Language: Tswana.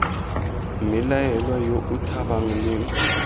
mmelaelwa yo o tshabang leng